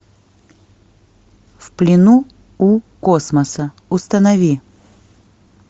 в плену у космоса установи